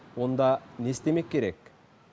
онда не істемек керек